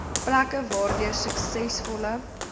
plekke waardeur suksesvolle